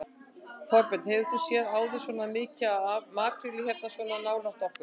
Þorbjörn: Hefur þú séð áður svona mikið af makrílnum hérna svona nálægt okkur?